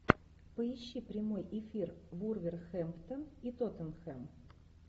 поищи прямой эфир вулверхэмптон и тоттенхэм